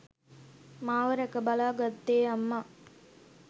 මාව රැක බලා ගත්තේ අම්මා.